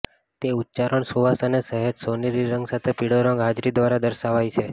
તે ઉચ્ચારણ સુવાસ અને સહેજ સોનેરી રંગ સાથે પીળો રંગ હાજરી દ્વારા દર્શાવાય છે